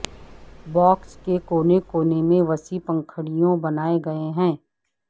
box کے کونے کونے میں وسیع پنکھڑیوں بنائے گئے ہیں